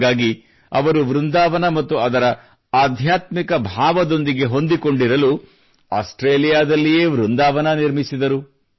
ಹಾಗಾಗಿ ಅವರು ವೃಂದಾವನ ಮತ್ತು ಅದರ ಆಧ್ಯಾತ್ಮಿಕ ಭಾವದೊಂದಿಗೆ ಹೊಂದಿಕೊಂಡಿರಲು ಆಸ್ಟ್ರೇಲಿಯಾದಲ್ಲಿಯೇ ವೃಂದಾವನ ನಿರ್ಮಿಸಿದರು